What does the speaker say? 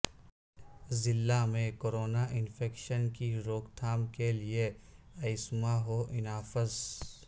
ضلع میں corona infection کی روک تھام کے لئے ا یسما ہو انافذ